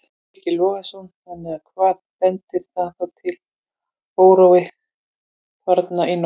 Breki Logason: Þannig að, að hvað bendir það þá til þessi órói þarna í nótt?